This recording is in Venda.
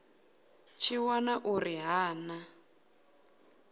tshi wana uri ha na